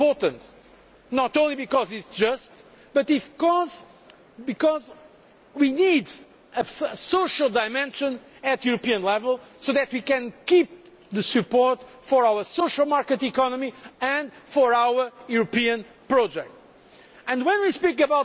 This is critically important, not only because it is just, but because we need a social dimension at European level so that we can keep support for our social market economy and for our European project.